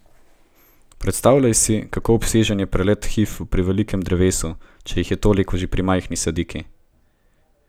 Predstavljaj si, kako obsežen je preplet hif pri velikem drevesu, če jih je toliko že pri majhni sadiki.